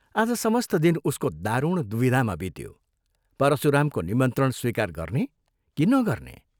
आज समस्त दिन उसको दारुण द्विविधामा बित्यो, परशुरामको निमन्त्रण स्वीकार गर्ने कि नगर्ने?